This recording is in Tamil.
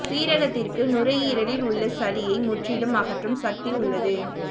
சீரகத்திருக்கு நுரையீரலில் உள்ள சளியை முற்றிலும் அகற்றும் சக்தி உள்ளது